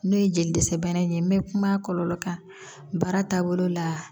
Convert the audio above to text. N'o ye jeli dɛsɛ bana in ye n bɛ kuma kɔlɔlɔ kan baara taabolo la